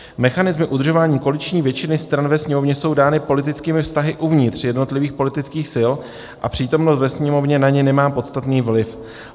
Mechanismy udržování koaliční většiny stran ve Sněmovně jsou dány politickými vztahy uvnitř jednotlivých politických sil a přítomnost ve Sněmovně na ně nemá podstatný vliv.